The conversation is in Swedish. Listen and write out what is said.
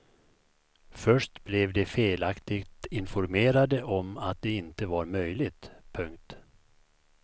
Först blev de felaktigt informerade om att det inte var möjligt. punkt